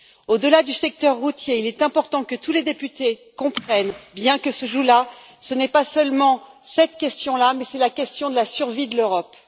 Au delà du secteur routier, il est important que tous les députés comprennent bien que ce qui se joue là, ce n'est pas seulement cette question là, mais c'est la question de la survie de l'Europe.